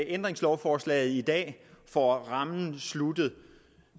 ændringslovforslaget i dag får rammen besluttet